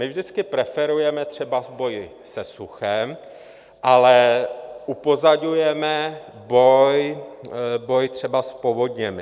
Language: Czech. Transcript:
My vždycky preferujeme třeba boj se suchem, ale upozorňujeme boj třeba s povodněmi.